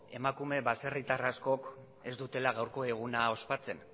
emakume baserritar askoz ez dutela gaurko eguna ospatzen